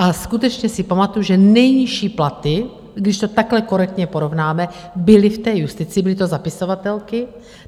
A skutečně si pamatuji, že nejnižší platy, když to takhle korektně porovnáme, byly v té justici, byly to zapisovatelky.